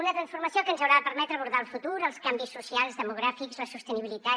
una transformació que ens haurà de permetre abordar el futur els canvis socials demogràfics la sostenibilitat